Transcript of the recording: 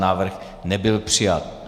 Návrh nebyl přijat.